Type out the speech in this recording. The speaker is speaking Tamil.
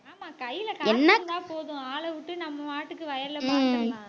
ஆமா கையில காசு இருந்தா போதும் ஆளை விட்டு நம்ம பாட்டுக்கு வயல்ல